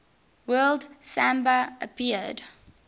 word samba appeared